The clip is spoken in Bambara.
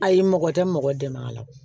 Ayi mɔgɔ tɛ mɔgɔ dɛmɛ a la